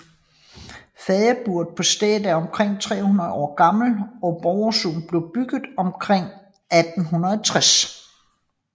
Fadeburet på stedet er omkring 300 år gammelt og Borgstuen blev bygget omkring 1860